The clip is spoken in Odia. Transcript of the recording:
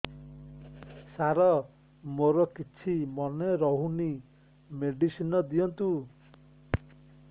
ସାର ମୋର କିଛି ମନେ ରହୁନି ମେଡିସିନ ଦିଅନ୍ତୁ